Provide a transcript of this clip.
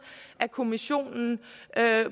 af kommissionen